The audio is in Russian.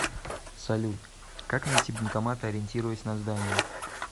салют как найти банкомат ориентируясь на здание